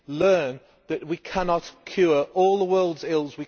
learn that we cannot cure all the world's ills.